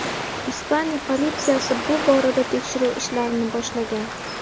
Ispaniya politsiyasi bu borada tekshiruv ishlarini boshlagan.